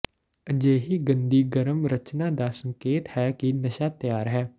ਅਜਿਹੀ ਗੰਦੀ ਗਰਮ ਰਚਨਾ ਦਾ ਸੰਕੇਤ ਹੈ ਕਿ ਨਸ਼ਾ ਤਿਆਰ ਹੈ